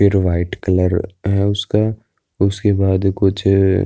पिरु white colour है उसका उसके बाद कुछ --